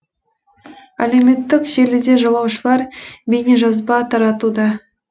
әлеуметтік желіде жолаушылар бейнежазба таратуда